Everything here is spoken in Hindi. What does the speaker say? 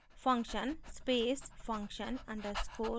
function space function underscore name